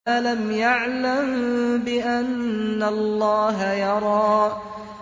أَلَمْ يَعْلَم بِأَنَّ اللَّهَ يَرَىٰ